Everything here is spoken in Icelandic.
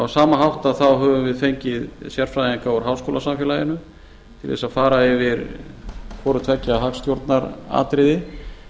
á sama hátt höfum við fengið sérfræðinga úr háskólasamfélaginu til þess að fara yfir hvorutveggja hagstjórnaratriði